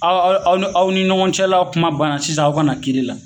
Aw aw aw aw ni ɲɔgɔn cɛla kuma banna sisan aw kana kiiri la